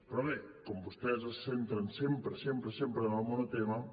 però bé com que vostès es centren sempre sempre en el monotema